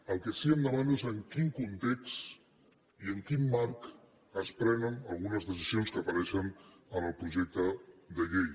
el que sí que em demano és en quin context i en quin marc es prenen algunes decisions que apareixen en el projecte de llei